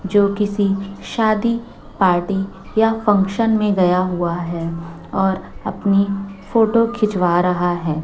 जो किसी शादी पार्टी या फंक्शन में गया हुआ है और अपनी फोटो खिंचवा रहा है।